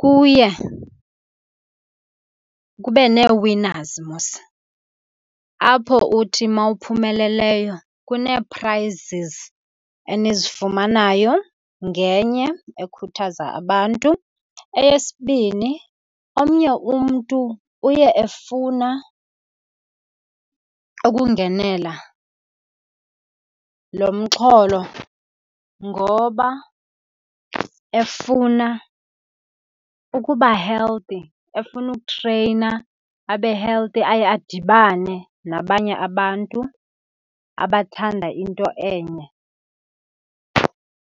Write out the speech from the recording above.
kuye kube ne-winners mos apho uthi mawuphumeleleyo kunee-prizes enizifumanayo, ngenye ekhuthaza abantu. Eyesibini, omnye umntu uye efuna ukungenela lo mxholo ngoba efuna ukuba healthy, efuna ukutreyina abe healthy, aye adibane nabanye abantu abathanda into enye.